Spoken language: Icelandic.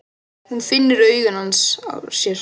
Hún finnur augu hans á sér.